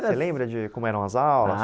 Você lembra de como eram as aulas? Ah